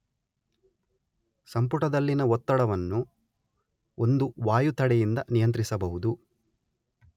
ಸಂಪುಟದಲ್ಲಿನ ಒತ್ತಡವನ್ನು ಒಂದು ವಾಯುತಡೆ ಯಿಂದ ನಿಯಂತ್ರಿಸಬಹುದು.